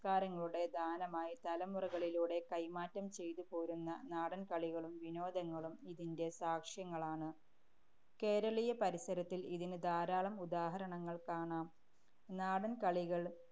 ~സ്കാരങ്ങളുടെ ദാനമായി തലമുറകളിലൂടെ കൈമാറ്റം ചെയ്തു പോരുന്ന നാടന്‍കളികളും വിനോദങ്ങളും ഇതിന്‍റെ സാക്ഷ്യങ്ങളാണ്. കേരളീയ പരിസരത്തില്‍ ഇതിന് ധാരാളം ഉദാഹരണങ്ങള്‍ കാണാം. നാടന്‍കളികള്‍